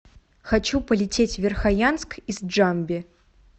хочу полететь в верхоянск из джамби